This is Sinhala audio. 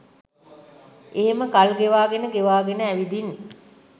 එහෙම කල් ගෙවාගෙන ගෙවාගෙන ඇවිදිං